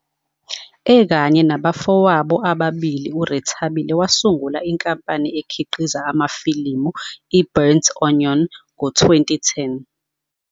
Ekanye nabafowabo ababili, uRethabile wasungula inkampani ekhiqiza amafilimu 'iBurnt Onion' ngo-2010.